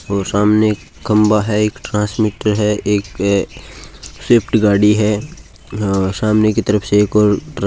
और सामने एक खंबा है एक ट्रांसमीटर है एक स्विफ्ट गाड़ी है सामने की तरफ से एक और ट्रक --